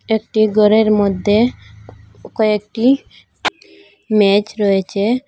একটি ঘরের মধ্যে কয়েকটি ম্যাজ রয়েছে।